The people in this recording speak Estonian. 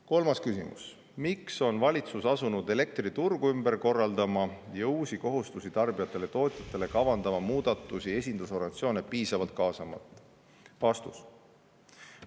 Kolmas küsimus: "Miks on valitsus asunud elektriturgu ümber korraldama ja uusi kohustusi tarbijatele ja tootjatele kavandama muudatusi esindusorganisatsioone piisavalt kaasamata?